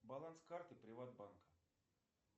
баланс карты приват банка